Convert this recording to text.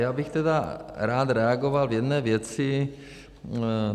Já bych tedy rád reagoval v jedné věci.